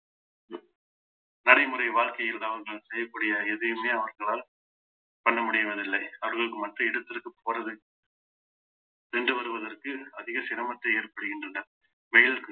நடைமுறை வாழ்க்கையில் தான் நான் செய்யக்கூடிய எதையுமே அவர்களால் பண்ண முடிவதில்லை அவர்கள் மற்ற இடத்திற்கு போறதுக்கு சென்று வருவதற்கு அதிக சிரமத்தை ஏற்படுகின்றன